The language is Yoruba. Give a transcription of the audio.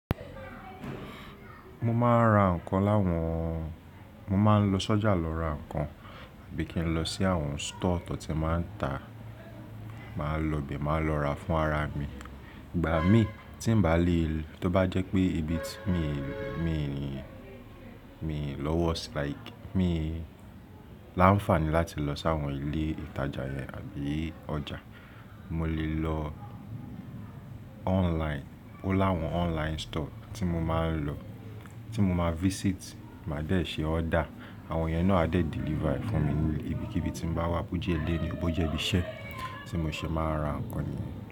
Mo máa ń ra ǹkan láwọn-- mo máa ń lọ sọ́jà lọ ra ǹkan tàbí kí n lọ sí àwọn store tó ti máa ń tà, màá lọ ibẹ̀, màá lọ ra fún ara mi. Ìgbà mí tí ń bá lè, tó bá jẹ́ pé ibi tí mi, mi, mi lọ́wọ́ like, mi láǹfààní láti lọ sí àwọn ilé ìtajà yẹn àbí ọjà, mo lè lọ online. Ó láwọn online store tí mo máa ń lọ, tí mo máa visit, màá dẹ̀ ṣe order. Àwọn yẹn náà a dẹ̀ deliver fún mi nílé ibi kí ibi tí mo bá wà, bó jẹ́ ilé ni, bó jẹ́ ibi iṣẹ́ tí mo ṣe máa ra ǹkan.